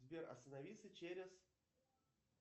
сбер остановиться через